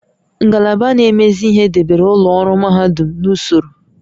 Ngalaba na-emezi ihe debere ụlọ ọrụ mahadum n'usoro